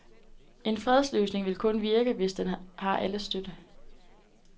En fredsløsning vil kun virke, hvis den har alles støtte.